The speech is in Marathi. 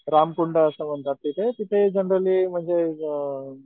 रामकुंड असं म्हणतात तिथे तिथे जनरली म्हणजे अ